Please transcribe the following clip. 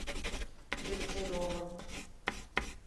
дегтяревым